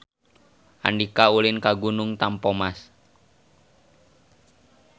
Andika ulin ka Gunung Tampomas